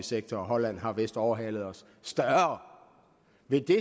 sektorer holland har vist overhalet os større